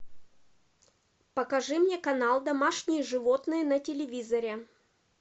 покажи мне канал домашние животные на телевизоре